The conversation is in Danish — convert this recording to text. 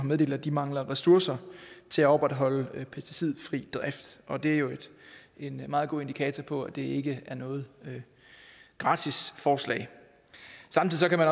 meddelt at de mangler ressourcer til at opretholde en pesticidfri drift og det er jo en meget god indikator på at det ikke er noget gratis forslag samtidig kan man